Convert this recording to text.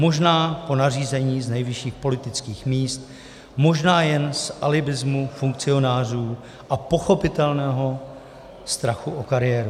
Možná po nařízení z nejvyšších politických míst, možná jen z alibismu funkcionářů a pochopitelného strachu o kariéru.